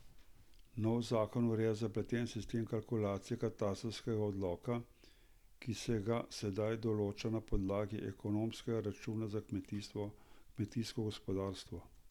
Novi zakon ureja zapleten sistem kalkulacij katastrskega dohodka, ki se ga sedaj določa na podlagi ekonomskega računa za kmetijsko gospodarstvo.